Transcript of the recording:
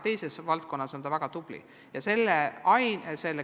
Teises valdkonnas võib ta väga tubli olla.